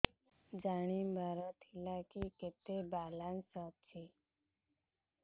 ଜାଣିବାର ଥିଲା କି କେତେ ବାଲାନ୍ସ ଅଛି